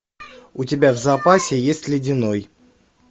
у тебя в запасе есть ледяной